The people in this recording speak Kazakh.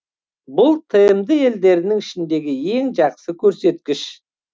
бұл тмд елдерінің ішіндегі ең жақсы көрсеткіш